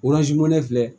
ne filɛ